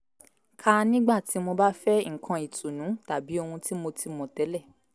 ka nígbà tí mo bá fẹ́ nǹkan ìtùnú tàbí ohun tí mo ti mọ̀ tẹ́lẹ̀